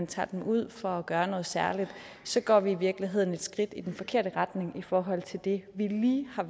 taget ud for at gøre noget særligt går vi i virkeligheden et skridt i den forkerte retning i forhold til det vi lige har